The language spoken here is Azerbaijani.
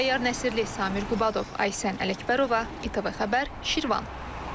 Təyyar Nəsirli, Samir Qubadov, Aysən Ələkbərova, İTV Xəbər, Şirvan.